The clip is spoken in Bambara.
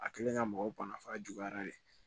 A kɛlen ka mɔgɔw banna f'a juguyara de